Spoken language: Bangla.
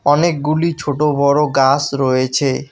অনেকগুলি ছোট বড় গাস রয়েছে।